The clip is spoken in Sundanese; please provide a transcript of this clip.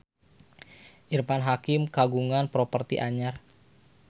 Irfan Hakim kagungan properti anyar